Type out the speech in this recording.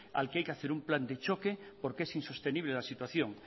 al que hay que hacer un plan de choque porque es insostenible la situación